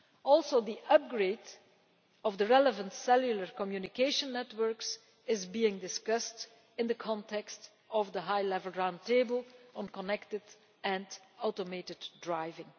Also, the upgrade of the relevant cellular communication networks is being discussed in the context of the relevant High Level Round Table on connected and automated driving.